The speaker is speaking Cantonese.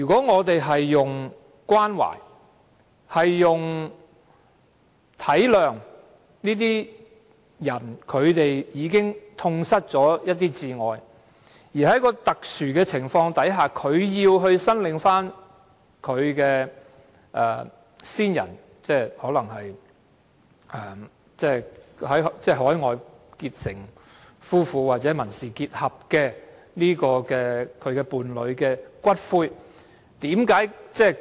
我們應關懷並體諒這些人已痛失摯愛，在一個特殊的情況下，他們要申領他們在海外結成夫婦或民事結合的伴侶的骨灰。